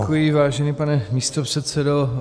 Děkuji, vážený pane místopředsedo.